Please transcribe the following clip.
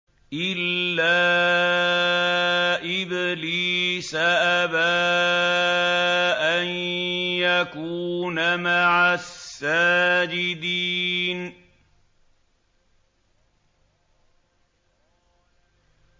إِلَّا إِبْلِيسَ أَبَىٰ أَن يَكُونَ مَعَ السَّاجِدِينَ